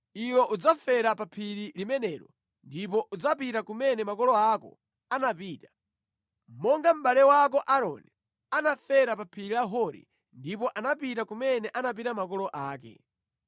Iwe udzafera pa phiri limenelo ndipo udzapita kumene makolo ako anapita, monga mʼbale wako Aaroni anafera pa phiri la Hori ndipo anakakhala ndi anthu a mtundu wake.